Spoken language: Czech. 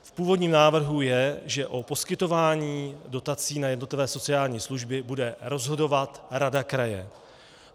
V původním návrhu je, že o poskytování dotací na jednotlivé sociální služby bude rozhodovat rada kraje.